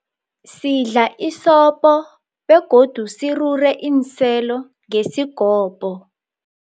Sidla isopo begodu sirure iinselo ngesigobho.